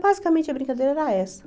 Basicamente, a brincadeira era essa.